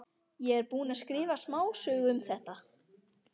Ég er búinn að skrifa smásögu um þetta.